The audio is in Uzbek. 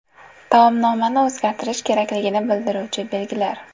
Taomnomani o‘zgartirish kerakligini bildiruvchi belgilar.